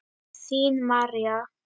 Þín, María.